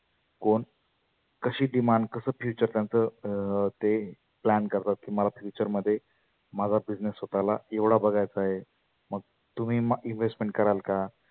कोण कशी demand असं future त्यांच अं ते plan करतात की मला future मध्ये माझा business स्वतःला एवढा बघायचा आहे. मग तुम्ही म‍ investment कराल का?